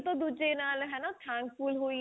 ਇੱਕ ਤੋਂ ਦੂਜੇ ਨਾਲ ਹੈਨਾ thankful ਹੋਈਏ ਅਗਰ